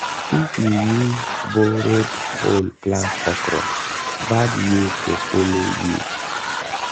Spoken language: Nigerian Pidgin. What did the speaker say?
if you use borrowed hoe plant okra bad yield go follow you.